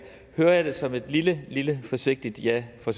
høre hører jeg det som et lillebitte forsigtigt ja fra